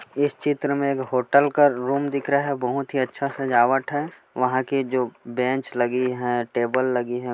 इस चित्र मे एक होटल का एक रूम दिख रहा है बहुत ही अच्छा सजावट है वहाँ के जो बेंच लगी है टेबल लगी हैं।